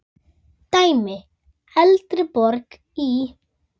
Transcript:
Dæmi: Eldborg í